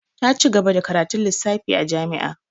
Ta ci gaba da karatun lissafi a jami'a.